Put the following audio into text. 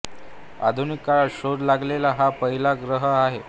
आधुनिक काळात शोध लागलेला हा पहिला ग्रह आहे